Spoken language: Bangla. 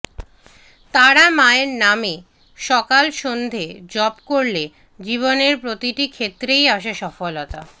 তারা মায়ের নামে সকাল সন্ধে জপ করলে জীবনের প্রতিটি ক্ষেত্রেই আসে সফলতা